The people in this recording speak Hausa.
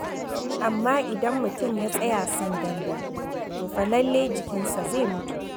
Amma idan mutum ya tsaya sandandan, to fa lallai jikinsa zai mutu.